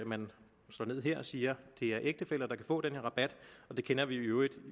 man slår ned her og siger det er ægtefæller der kan få den her rabat det kender vi jo i øvrigt